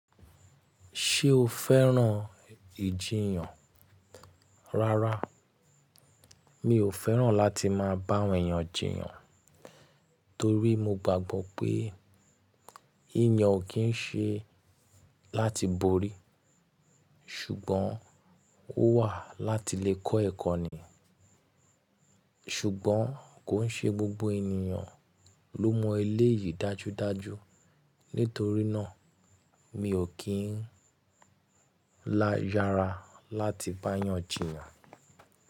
Ṣé o fẹ́ràn ìjiyàn? Rárá, mi ò fẹ́ràn láti máa bá èèyàn jìyàn torí mo gbàgbọ́ pé ìyàn ò kí ń ṣe láti borí ṣùgbọ́n ó wà láti lè kọ́ ẹ̀kọ́ ni. Ṣùgbọ́n kò ń ṣe gbogbo ènìyàn ló mọ ilé yìí dájúdájú. Nítorí náà, mi ò kí ń lá yára láti bá èèyàn jìyàn.